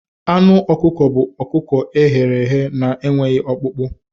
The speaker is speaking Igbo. Anụ ọkụkọ bụ ọkụkọ e ghere eghe na-enweghị ọkpụkpụ.